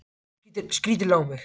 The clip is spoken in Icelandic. Hún horfir skrítilega á mig.